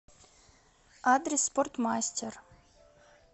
адрес спортмастер